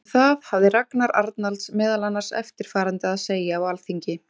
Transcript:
Um það hafði Ragnar Arnalds meðal annars eftirfarandi að segja á Alþingi